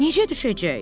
Necə düşəcək?